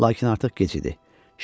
Lakin artıq gec idi.